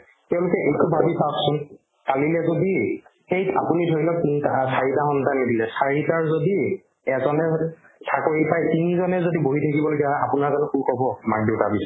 তেওঁলোকে এইটো ভাবি পাওকচোন কালিলে যদি সেইত আপুনি ধৰিলওক তিনটাহ চাৰিটা সন্তানে দিলে চাৰিটাৰ যদি এজনে হয়তো চাকৰি পাই তিনিজনে যদি বহি থাকিব লগীয়া হয় আপোনাৰ জানো সুখ হ'ব মা-দেউতাক